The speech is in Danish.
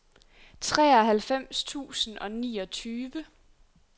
treoghalvfems tusind og niogtyve